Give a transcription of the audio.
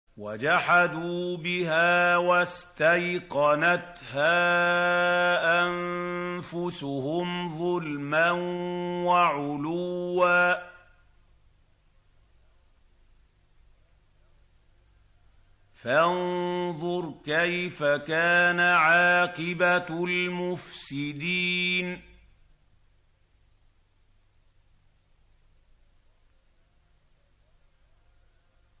وَجَحَدُوا بِهَا وَاسْتَيْقَنَتْهَا أَنفُسُهُمْ ظُلْمًا وَعُلُوًّا ۚ فَانظُرْ كَيْفَ كَانَ عَاقِبَةُ الْمُفْسِدِينَ